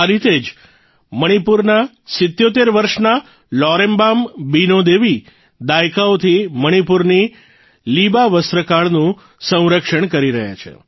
આ રીતે જ મણિપુરના ૭૭ વર્ષના લૌરેમ્બમ બીનો દેવી દાયકાઓથી મણિપુરની લીબા વસ્ત્રકળાનું સંરક્ષણ કરી રહ્યા છે